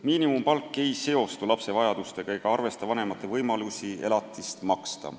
Miinimumpalk ei seostu lapse vajadustega ega arvesta vanemate võimalusi elatist maksta.